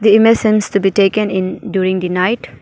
The image seems to be taken in during the night.